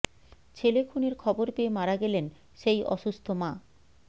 ছেলে খুনের খবর পেয়ে মারা গেলেন সেই অসুস্থ মা